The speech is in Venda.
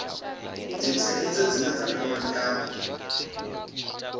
dzithaidzo dzine dza kwama nyambo